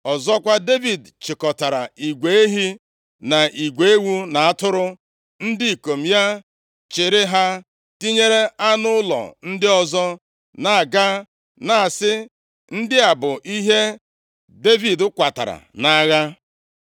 Ọzọkwa, Devid chịkọtara igwe ehi na igwe ewu na atụrụ. Ndị ikom ya chịịrị ha, tinyere anụ ụlọ ndị ọzọ, na-aga, na-asị, “Ndị a bụ ihe Devid kwatara nʼagha.”